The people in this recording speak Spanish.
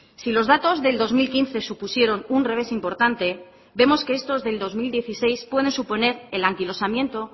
si los datos del dos mil quince supusieron un revés importante vemos que estos del dos mil dieciséis pueden suponer el anquilosamiento